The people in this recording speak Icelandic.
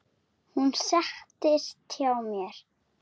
Hún settist hjá mér.